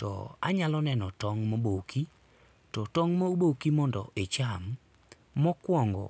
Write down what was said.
To anyalo neno tong' moboki, to tong' moboki mondo icham, mokuongo,